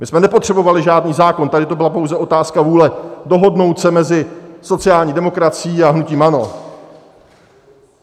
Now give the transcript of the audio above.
My jsme nepotřebovali žádný zákon, tady to byla pouze otázka vůle dohodnout se mezi sociální demokracií a hnutím ANO.